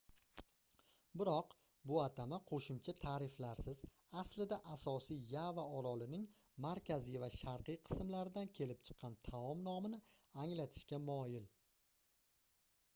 biroq bu atama qoʻshimcha taʼriflarsiz aslida asosiy yava orolining markaziy va sharqiy qismlaridan kelib chiqqan taom nomini anglatishga moyil